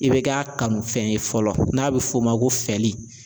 I bɛ k'a kanufɛn ye fɔlɔ n'a bɛ f'o ma ko fɛli